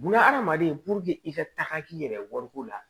Bunahadamaden i ka taga k'i yɛrɛ wariko la